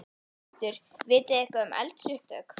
Hjörtur: Vitið þið eitthvað um eldsupptök?